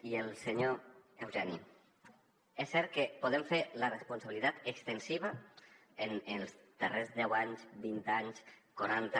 i al senyor eugeni és cert que podem fer la responsabilitat extensiva en els darrers deu anys vint anys quaranta